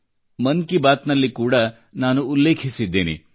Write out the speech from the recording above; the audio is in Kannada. ಮನ್ ಕಿ ಬಾತ್ ನಲ್ಲಿ ಕೂಡಾ ನಾನು ಉಲ್ಲೇಖಿಸಿದ್ದೇನೆ